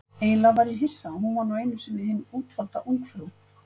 Eiginlega var ég hissa, hún var nú einu sinni hin útvalda ungfrú